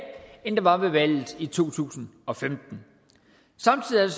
end der var ved valget i to tusind og femten samtidig